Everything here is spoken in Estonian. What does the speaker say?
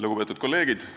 Lugupeetud kolleegid!